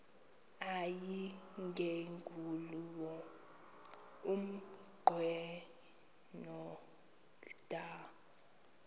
yayingenguwo umnqweno kadr